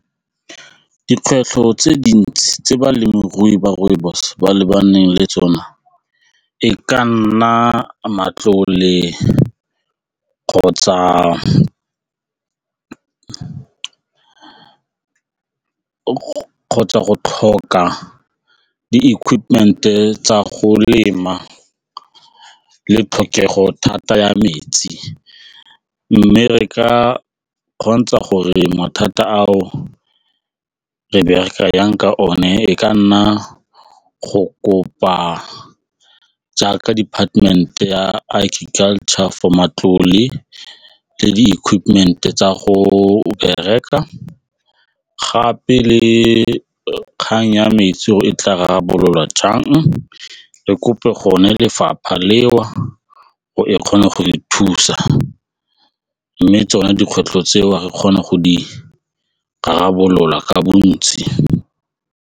Dikgwetlho tse dintsi tse balemirui ba rooibos ba lebaneng le tsone e ka nna matlole kgotsa go tlhoka di-equipment-e tsa go lema le tlhokego thata ya metsi mme re ka kgontsha gore mathata ao re bereka jang ka one e ka nna go kopa jaaka department-e ya agriculture for matlole le di-equipment-e tsa go bereka gape le kgang ya metsi gore e tla rarabololwa jang le kope lefapha leo go e kgone go re thusa mme tsone dikgwetlho tseo re kgone go di rarabolola ka bontsi.